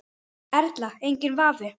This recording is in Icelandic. Erla: Enginn vafi?